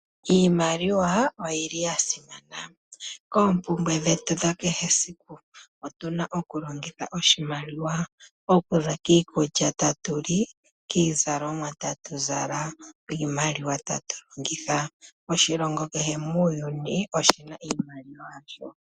Iimaliwa oyi li ya simana koompumbwe dhetu dha kehesiku otu na oku longitha oshimaliwa. Oku za kiikulya tatu li , kiizalomwa tatu zala, kiimaliwa tatu longitha . Oshilongo kehe muuyuni oshi na oshimaliwa shasho.